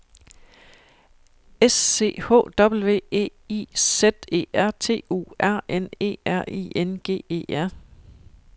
S C H W E I Z E R T U R N E R I N G E R